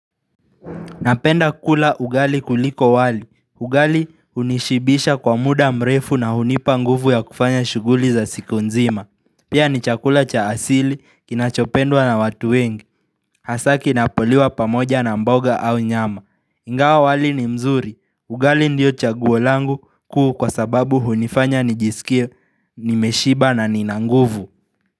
Napenda kula ugali kuliko wali. Ugali hunishibisha kwa muda mrefu na hunipa nguvu ya kufanya shughuli za siku nzima. Pia ni chakula cha asili kinachopendwa na watu wengi. Hasa kinapoliwa pamoja na mboga au nyama. Ingawa wali ni mzuri. Ugali ndiyo chaguo langu kuu kwa sababu hunifanya nijisikie nimeshiba na nina nguvu.